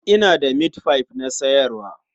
Ina da mitfai na sayarwa.